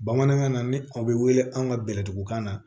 Bamanankan na ni aw bɛ wele an ka bɛlɛtugukan na